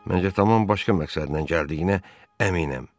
Mən isə tamam başqa məqsədlə gəldiyinə əminəm.